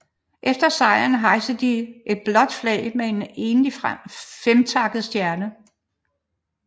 Efter sejren hejste de et blåt flag med en enlig femtakket stjerne